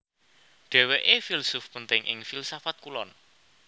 Dhèwèké filsuf penting ing filsafat Kulon